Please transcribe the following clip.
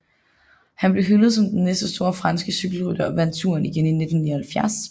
Han blev hyldet som den næste store franske cykelrytter og vandt Touren igen i 1979